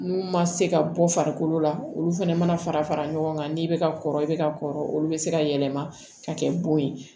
N'u ma se ka bɔ farikolo la olu fɛnɛ mana fara fara ɲɔgɔn kan n'i bɛ ka kɔrɔ i bɛ ka kɔrɔ olu bɛ se ka yɛlɛma ka kɛ bon ye